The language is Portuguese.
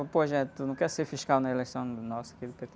Pô, tu não quer ser fiscal na eleição nossa aqui do pê-tê?